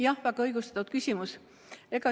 Jah, väga õigustatud küsimus.